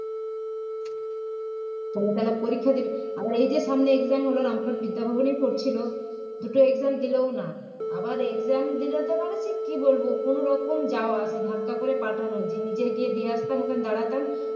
তাহলে পরীক্ষা দিবি আবার এই যে সামনে exam হল রামপ্রসাদ বিদ্যাভবন এই পড়েছিলো দুটো exam দিলোও না আবার exam দিলো তো মানে কী বলব কোনওরকম যাওয়া সেই ধাক্কা করে পাঠানো যে নিজে গিয়ে দিয়ে আসতাম ওখানে দাঁড়াতাম